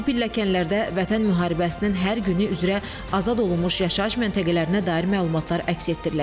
Bu pilləkənlərdə Vətən müharibəsinin hər günü üzrə azad olunmuş yaşayış məntəqələrinə dair məlumatlar əks etdiriləcək.